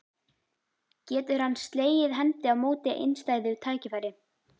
Getur hann slegið hendi á móti einstæðu tækifæri?